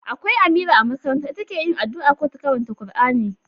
Akwai Amira a makaranta, ita ke yi addu'a ko ta karanta Kur'ani